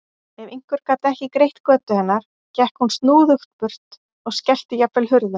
Ef einhver gat ekki greitt götu hennar gekk hún snúðugt burt og skellti jafnvel hurðum.